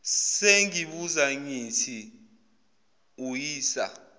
sengibuza ngithi uyisa